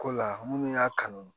Ko la minnu y'a kanu